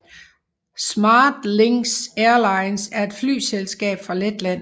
SmartLynx Airlines er et flyselskab fra Letland